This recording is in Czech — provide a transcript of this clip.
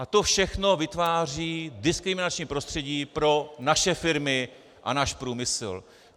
A to všechno vytváří diskriminační prostředí pro naše firmy a náš průmysl.